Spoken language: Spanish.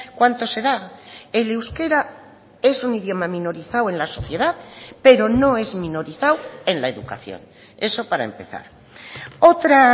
cuánto se da el euskera es un idioma minorizado en la sociedad pero no es minorizado en la educación eso para empezar otra